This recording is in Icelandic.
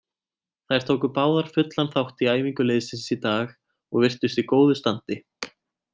Þær tóku báðar fullan þátt í æfingu liðsins í dag og virtust í góðu standi.